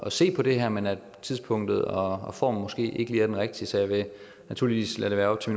at se på det her men at tidspunktet og formen måske ikke lige er de rigtige så jeg vil naturligvis lade det være op til